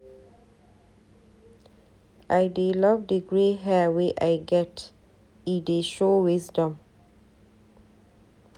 I dey love di grey hair wey I get, e dey show wisdom.